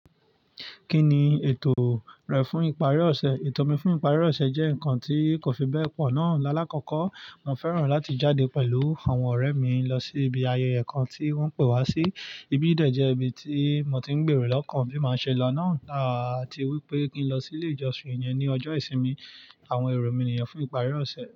Kí ni ètò rẹ fún ìparí ọ̀sẹ̀? Ètò mi fún ìparí ọ̀sẹ̀ jẹ́ nǹkan tí kò fi bẹ́ẹ̀ pọ̀ ná. Lálàkọ́kọ́, mo fẹ́ràn láti jáde pẹ̀lú àwọn ọ̀rẹ́ mi lọ sí ibi ayẹyẹ kan tí wọ́n pé wá sí. Ibi yìí dẹ̀ jẹ́ ibi tí mo ti ń gbèrò lọ́kàn bí mo ṣe máa ṣe lọ náà, àti wípé kí n lọ sí ilé ìjọsìn yẹn ní ọjọ́ ìsinmi àwọn èrò mí ni yẹn fún ìparí ọ̀sẹ̀.